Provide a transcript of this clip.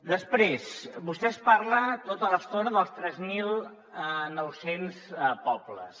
després vostè parla tota l’estona dels tres mil nou cents pobles